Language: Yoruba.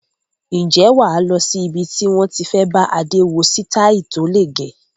Ǹjẹ́ wà lọ sí ibi tí wón ti fẹ bá Adé wo sitai tó le gẹ̀?